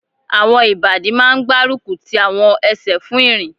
Àwọn ìbàdí máa n gbárùkù ti àwọn ẹsẹ̀ fún ìrìn